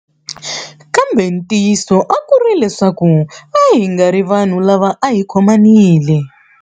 Kambe ntiyiso a ku ri leswaku a hi nga ri vanhu lava a hi khomanile.